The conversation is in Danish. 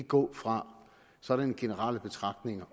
gå fra sådanne generelle betragtninger